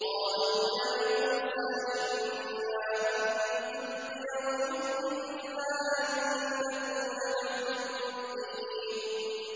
قَالُوا يَا مُوسَىٰ إِمَّا أَن تُلْقِيَ وَإِمَّا أَن نَّكُونَ نَحْنُ الْمُلْقِينَ